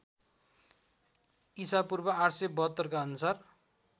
ईपू ८७२ का अनुसार